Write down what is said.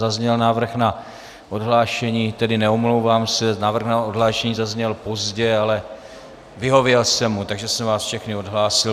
Zazněl návrh na odhlášení, tedy neomlouvám se, návrh na odhlášení zazněl pozdě, ale vyhověl jsem mu, takže jsem vás všechny odhlásil.